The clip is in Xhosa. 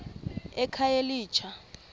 ekhayelitsha